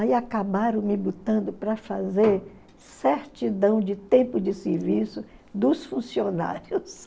Aí acabaram me botando para fazer certidão de tempo de serviço dos funcionários.